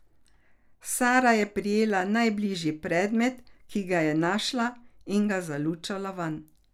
Sara je prijela najbližji predmet, ki ga je našla, in ga zalučala vanj.